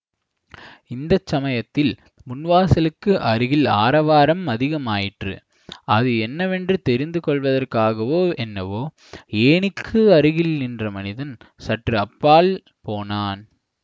இந்த சமயத்தில் முன் வாசலுக்கு அருகில் ஆரவாரம் அதிகமாயிற்று அது என்னவென்று தெரிந்துகொள்வதற்காகவோ என்னவோ ஏணிக்கு அருகில் நின்ற மனிதன் சற்று அப்பால் போனான்